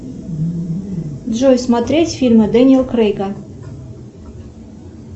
джой смотреть фильмы дэниел крейга